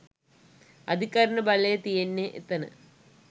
අධිකරණ බලය තියෙන්නේ එතන.